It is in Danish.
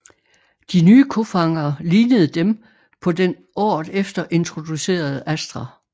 De nye kofangere lignede dem på den året efter introducerede Astra